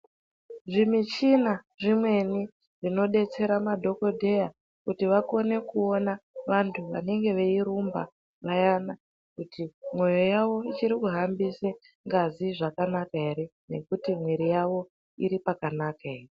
Zvimichina zvimweni zvinodetsera madhokodheya kuti vakone kuona vantu vanenge veirumba peyana kuti mwoyo yavo ichiri kumbise ngazi zvakanaka ere ngekuti mwiri yawo iri pakanaka ere.